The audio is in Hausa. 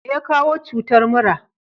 meya kawo cutar mura?